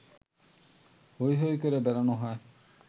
হৈ হৈ করে বেড়ানো হয়